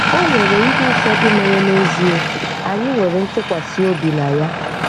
O nwere ihe ụfọdụ mere n'ezie anyị nwere ntụkwasị obi na ya.